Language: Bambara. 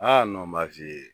Aa n b'a f'i ye.